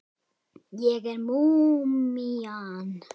Ég er múmían.